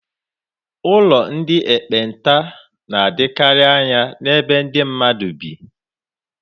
Ụlọ ndị ekpenta na-adịkarị anya n'ebe ndị mmadụ bi.